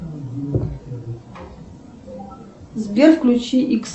сбер включи икс